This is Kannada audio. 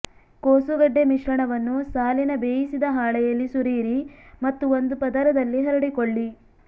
ಕೋಸುಗಡ್ಡೆ ಮಿಶ್ರಣವನ್ನು ಸಾಲಿನ ಬೇಯಿಸಿದ ಹಾಳೆಯಲ್ಲಿ ಸುರಿಯಿರಿ ಮತ್ತು ಒಂದು ಪದರದಲ್ಲಿ ಹರಡಿಕೊಳ್ಳಿ